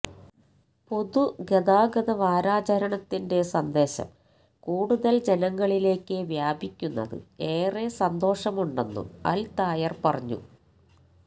പൊതുഗതാഗത വാരാചരണത്തിന്റെ സന്ദേശം കൂടുതല് ജനങ്ങളിലേക്ക് വ്യാപിക്കുന്നത് ഏറെ സന്തോഷമുണ്ടെന്നും അല് തായര് പറഞ്ഞു